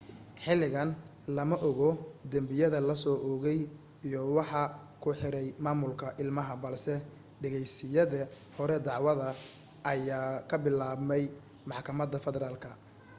xilligan lama oga dembiyada la soo oogay iyo waxa ku riixay maamulka ilmaha balse dhegaysiyada hore dacwada ayaa ka bilaabmay maxkamada federaalka